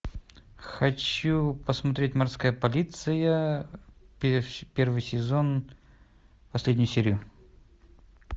хочу посмотреть морская полиция первый сезон последнюю серию